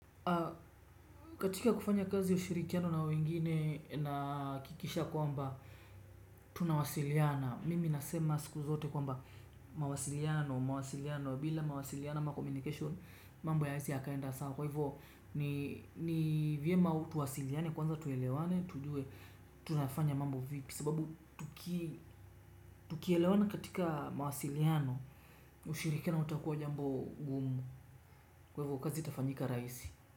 Katika kufanya kazi ushirikiano na wengine nahakikisha kwamba tunawasiliana Mimi nasema siku zote kwamba mawasiliano, mawasiliano bila mawasiliano ama communication mambo hayawezi yakaenda sawa. Kwa hivyo ni vyema tuwasiliane kwanza tuelewane, tujue, tunafanya mambo vipi. Sababu tukielewana katika mawasiliano ushirikiano utakuwa jambo gumu. Kwa hivyo kazi itafanyika rahisi.